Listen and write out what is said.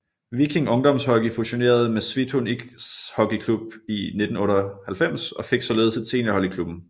Viking Ungdomshockey fusionerede med Svithun Ishockeyklubb i 1998 og fik således et seniorhold i klubben